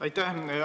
Aitäh!